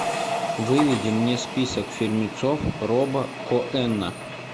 выведи мне список фильмецов роба коэна